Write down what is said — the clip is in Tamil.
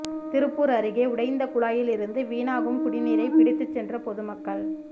திருப்பூா் அருகே உடைந்த குழாயில் இருந்து வீணாகும் குடிநீரை பிடித்துச் சென்ற பொதுமக்கள்